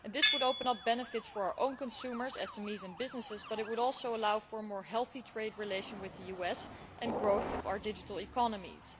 This would open up benefits for our own consumers, SMEs and businesses, but it would also allow for a more healthy trade relation with the US, and growth of our digital economies.